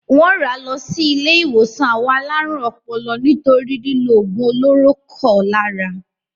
Wọ́n rà lọ sí ilé-ìwòsàn àwọn alárùn ọpọlọ nítorí lílo òògùn olóró kọ lára.